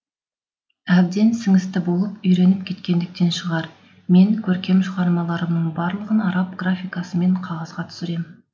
әбден сіңісті болып үйреніп кеткендіктен шығар мен көркем шығармаларымның барлығын араб графикасымен қағазға түсірем